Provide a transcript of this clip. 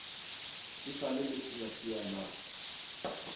e sa le leseasea na